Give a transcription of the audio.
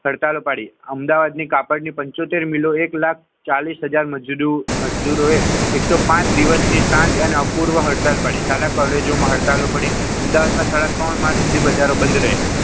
હડતાલો ઉપાડી અમદાવાદની કાપડની પંચોતેર મિલો એક લાખ ચાલીસ હજાર હોય મજદૂરો એ એકસો પાંચ દિવસની સાત અપૂર્વ હડતાલો પાડી શાળા કોલેજોમાં હડતાલો પડી અમદાવાદમાં સાડા ત્રણ માસ સુધી બજારો બંધ રહ્યા.